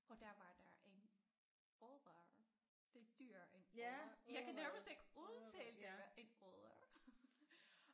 Og der var der en odder det et dyr ja jeg kan nærmest ikke udtale det en odder